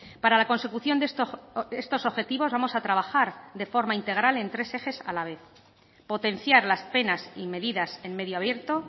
para la consecución de estos objetivos vamos a trabajar de forma integral en tres ejes a la vez potenciar las penas y medidas en medio abierto